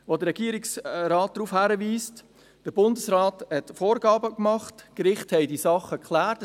Der Regierungsrat weist darauf hin, dass der Bundesrat Vorgaben gemacht hat und Gerichte die Sachen geklärt haben.